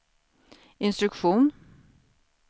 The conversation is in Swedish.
instruktion